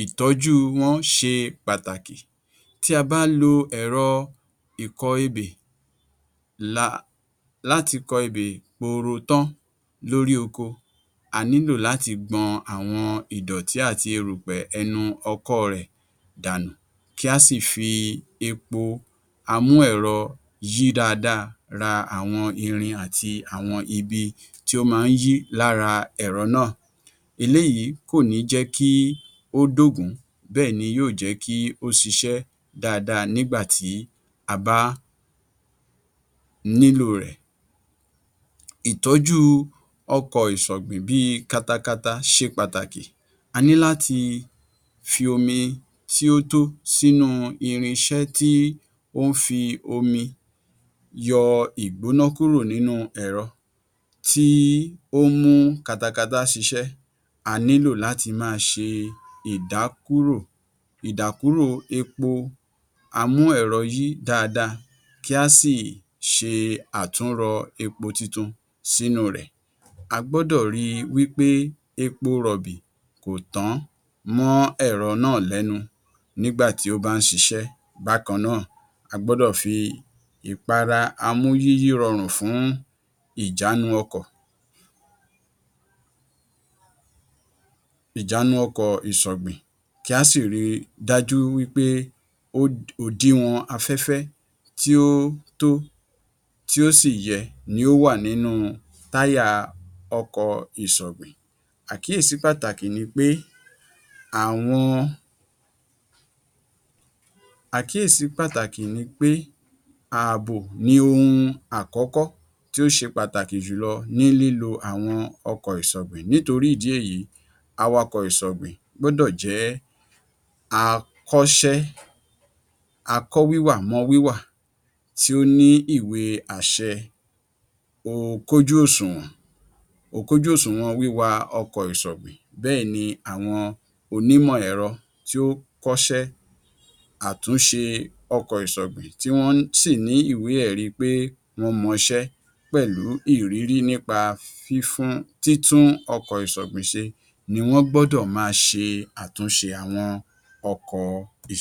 ìdí èyí ó ṣe pàtàkì kí àwọn ìlú àti ìgbèríko ní ilé-ìgbọ̀nsẹ̀ tí ó dára láti ṣẹ̀yọ́ tàbí láti ṣe ìgbọ̀nsẹ̀. Tí a bá fẹ́ gbẹ́ kòtò fún ilé-ìgbọ̀nsẹ̀, a gbọ́dọ̀ kọ́kọ́ ṣe àṣàyàn ilẹ̀ tí kò súnmọ́ ibùsùn tàbí ilé ìdáná tàbí kọ̀ǹga omi mímu. Kòtò fún ilé-ìgbọ̀nsẹ̀ a máa fẹ̀ ní ẹsẹ̀ bàtà méjì ní gígùn àti ní esẹ̀ bàtà mẹ́rin sí méje ní jínjìn. Àwọn irinṣẹ tí a nílò fún gbígbẹ́ kòtò fún ilé-ìgbọ̀nsẹ̀ ni ṣọ́bìrìn, àáké ìwúlẹ̀, ike ìkó-erùpè, okùn àti bẹ́ẹ̀ bẹ́ẹ̀ lọ. Bí a tí ń gbẹ́ kòtò fún ilé-ìgbọ̀nsẹ̀ ni a ó ò máa wa àwọn erùpẹ̀ tí a ti wú jáde sókè. Àáké ìwúlẹ̀ wúlò fún gbígbé ilẹ̀ tí ó le bí i iyangí tàbí ilẹ̀ amọ̀ tí ó dìpọ̀, ọkọ́ ṣọ́bìrìn ni a ó ò fi máa kó erùpẹ̀ sínú ike nígbà tí ẹni tí ó wà lókè yóò máa fi okùn tí a ti so mọ́ ara ike náà fà á sókè, a gbọ́dọ̀ máa ṣe àkíyèsí kòtò náà kí a rí i wí pé a kò gbẹ kan omi tí a bá ti gbẹ ní ìwọ̀n tí ó tọ́, a óò rẹ́ ẹ̀gbẹ̀ẹ̀gbẹ́ kòtò náà ní inú, a óò ṣe ojú ìgbọ̀nsẹ̀ kótópó sí orí ìdérí rẹ̀, bẹ́ẹ̀ni a óò kọ́ yàrá ìgbọ̀nsẹ̀ sí orí kòtò ìgbọ̀nsẹ̀ náà, a gbódọ̀ ṣe ìpèsè ojú fèrèsé àti ilẹ̀kùn fún ilé-ìgbọ̀nsẹ̀ náà kí afẹ́fẹ́ ba à lè máa wọlé àti kí ìhòhò ẹni tí ó ń ṣe ìgbọ̀nsẹ̀ má bà á hàn síta, a gbọ́dọ̀ ṣe ìpèsè omi fún ìfọ̀dí tí a bá ti ṣe ìgbọ̀nsẹ̀ tán, bẹ́ẹ̀ni ìpèsè omi tí ó mọ́, ọṣẹ, àti ìfọwọ́ tí ó ń pa kòkòrò àìsàn fún lílò nínú ilé-ìgbọ̀nsẹ̀ ṣe pàtàkì. Kíkó kòtò ìgbọ̀nsẹ̀ tí ó bá ti kún ṣe pàtàkì láti dènà de onírúurú àjàkálẹ̀ àrùn tí ó máa ń wá láti ara ilé-ìgbọ̀nsẹ̀ tí a kò ṣe ìtọ́jú rẹ̀.